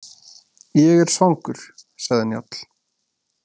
Ég er svangur, sagði Njáll.